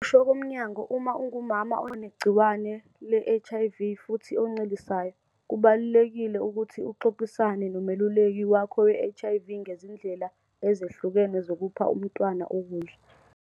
Ngokusho komnyango, uma ungumama onegciwane le-HIV futhi oncelisayo, kubalulekile ukuthi uxoxisane nomeluleki wakho we-HIV ngezindlela ezehlukene zokupha umntwana ukudla.